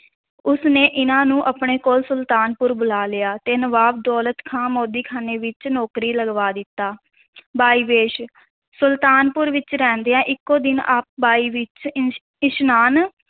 ਉਸ ਨੇ ਇਹਨਾਂ ਨੂੰ ਆਪਣੇ ਕੋਲ ਸੁਲਤਾਨਪੁਰ ਬੁਲਾ ਲਿਆ ਤੇ ਨਵਾਬ ਦੌਲਤ ਖਾਨ ਮੋਦੀਖਾਨੇ ਵਿੱਚ ਨੌਕਰੀ ਲਗਵਾ ਦਿੱਤਾ ਵੇਈ ਵੇਸ਼ ਸੁਲਤਾਨਪੁਰ ਵਿੱਚ ਰਹਿੰਦਿਆਂ ਇੱਕੋ ਦਿਨ ਆਪ ਵੇਈ ਵਿੱਚ ਇਸ਼~ ਇਸ਼ਨਾਨ